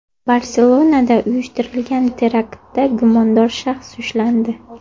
Barselonada uyushtirilgan teraktda gumondor shaxs ushlandi.